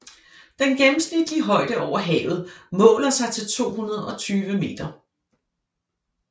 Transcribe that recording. Den gennemsnitlige højde over havet måler sig til 220 m